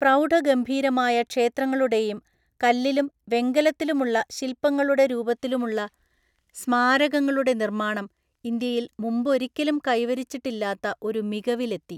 പ്രൗഢഗംഭീരമായ ക്ഷേത്രങ്ങളുടെയും കല്ലിലും വെങ്കലത്തിലുമുള്ള ശില്പങ്ങളുടെ രൂപത്തിലുമുള്ള സ്മാരകങ്ങളുടെ നിർമ്മാണം ഇന്ത്യയിൽ മുമ്പൊരിക്കലും കൈവരിച്ചിട്ടില്ലാത്ത ഒരു മികവിൽ എത്തി.